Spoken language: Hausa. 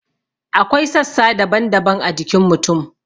Akwai sassa daban-daban a jikin mutum.